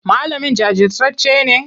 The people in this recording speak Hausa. Malamin jajirtacce ne?